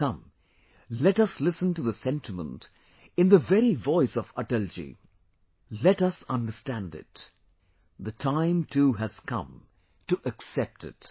Come, let us listen to the sentiment in the very voice of Atal ji Let us understand it...the time too has come to accept it